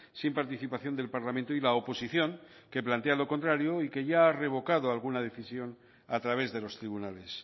sin participación del parlamento y la oposición que plantea lo contrario y que ya ha revocado alguna decisión a través de los tribunales